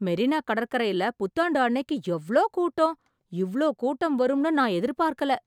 மெரினா கடற்கரைல புத்தாண்டு அன்னைக்கு எவ்வளோ கூட்டம். இவ்ளோ கூட்டம் வரும்னு நான் எதிர்பார்க்கல